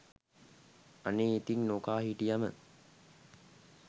අනේ ඉතිං නොකා හිටියම